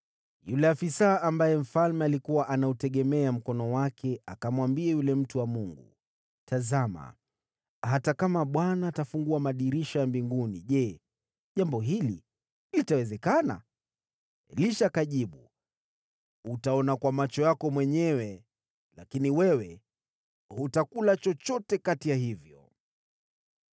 Yule afisa ambaye mfalme alikuwa anauegemea mkono wake akamwambia yule mtu wa Mungu, “Tazama, hata kama Bwana atafungua madirisha ya mbinguni, je, jambo hili litawezekana?” Elisha akajibu, “Utaona kwa macho yako mwenyewe, lakini wewe hutakula chochote kati ya hivyo!”